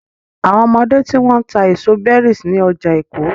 Àwọn ọmọdé tí wọ́n ń ta èso berries ní ọjà Èkó.